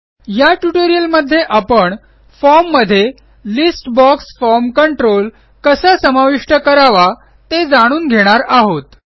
या ट्युटोरियलमध्ये आपण फॉर्म मध्ये लिस्ट बॉक्स फॉर्म कंट्रोल कसा समाविष्ट करावा ते जाणून घेणार आहोत